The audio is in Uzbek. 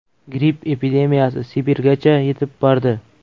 Gripp epidemiyasi Sibirgacha yetib bordi.